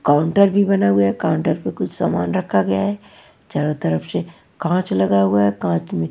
counter भी बना हुआ है काउंटर पे कुछ सामान रखा गया है चारों तरफ से काँच लगा हुआ है काँच में--